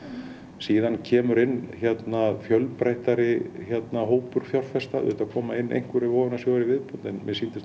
síðan kemur inn fjölbreyttari hópur fjárfesta auðvitað koma inn einhverjir vogunarsjóðir í viðbót en